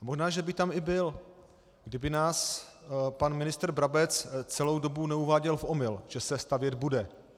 Možná že by tam i byl, kdyby nás pan ministr Brabec celou dobu neuváděl v omyl, že se stavět bude.